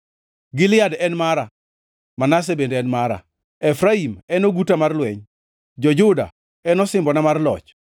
Gilead en mara, Manase bende mara; Efraim en oguta mar lweny, to Juda en osimbona mar loch.